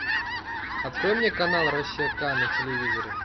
открой мне канал россия ка на телевизоре